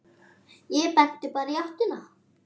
Ég benti bara í áttina.